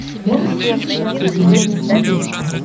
можешь включить открытый мир на смотрешке